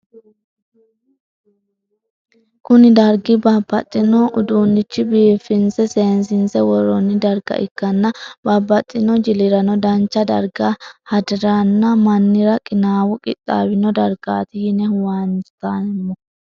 Kuni dargi babaxino udunichin bifinsena sesinise woron darga ikana babaxino jilirano dancha darga hadirano mannira qinawino qixawino dargati yinne huwantemo